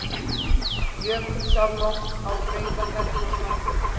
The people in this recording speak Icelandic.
Jökulsárlón á Breiðamerkursandi.